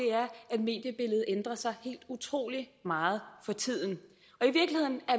mediebilledet ændrer sig helt utrolig meget for tiden